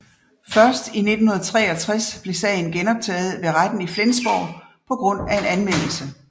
Først i 1963 blev sagen genoptaget ved retten i Flensborg på grund af en anmeldelse